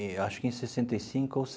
Eu acho que em sessenta e cinco ou